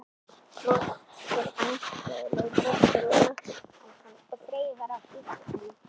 Brosir vandræðalegu brosi fyrir ofan hann og þreifar á dýrgripnum.